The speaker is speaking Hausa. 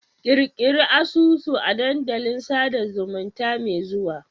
Ƙirƙiri asusu a dandalin sada zumunta mai zuwa